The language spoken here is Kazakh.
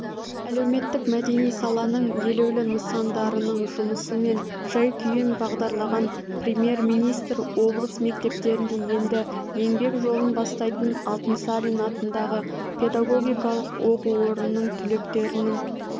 әлеуметтік-мәдени саланың елеулі нысандарының жұмысы мен жай-күйін бағдарлаған премьер-министр облыс мектептерінде енді еңбек жолын бастайтын алтынсарин атындағы педагогикалық оқу орнының түлектерінің